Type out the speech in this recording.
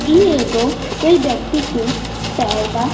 इ एगो कोई ब्यक्ति के पैर बा।